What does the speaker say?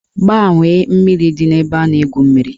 Gbanwee mmiri dị n'ebe a na-egwu mmiri!